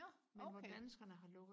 nå okay